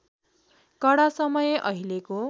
कडा समय अहिलेको